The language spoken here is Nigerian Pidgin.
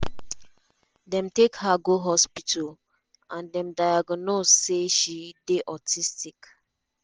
dem take her go hospital and dem diagnose say she dey autistic.